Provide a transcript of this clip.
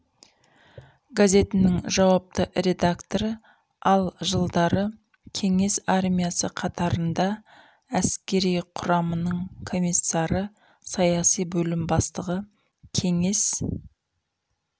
газетінің жауапты редакторы ал жылдары кеңес армиясы қатарында әскери құраманың комиссары саяси бөлім бастығы кеңес